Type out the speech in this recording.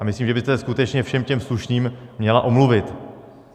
A myslím, že byste se skutečně všem těm slušným měla omluvit.